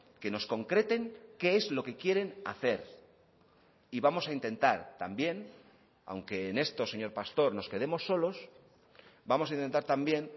que nos concreten qué es lo que quieren hacer y vamos a intentar también aunque en esto señor pastor nos quedemos solos vamos a intentar también